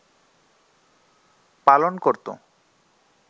পালন করত